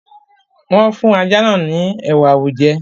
wọ́n fún ajá náà ní “ ẹ̀wà awújẹ”.